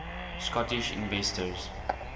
scottish inventors